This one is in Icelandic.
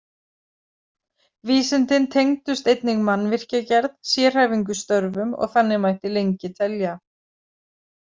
Vísindin tengdust einnig mannvirkjagerð, sérhæfingu í störfum og þannig mætti lengi telja.